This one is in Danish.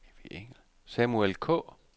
Samuel Kaae